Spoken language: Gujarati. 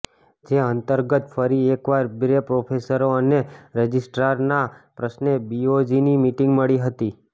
જે અંતર્ગત ફરી એક વાર બે પ્રોફેસરો અને રજિસ્ટ્રારના પ્રશ્ને બીઓજીની મિટિંગ મળી હતી